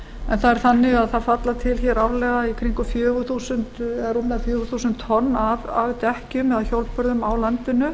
en það er þannig að það falla til hér árlega í kringum eða rúmlega fjögur þúsund tonn af dekkjum eða hjólbörðum á landinu